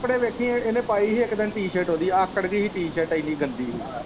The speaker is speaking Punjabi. ਕੱਪੜੇ ਵੇਖੀ ਇਹਨੇ ਪਾਈ ਇੱਕ ਦਿਨ ਟੀ ਸਰਟ ਇਹਦੀ ਆਕੜ ਗਈ ਹੀ ਟੀ ਸਰਟ ਇੰਨੀ ਗੰਦੀ ਹੀ।